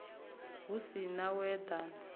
hu si na u eḓana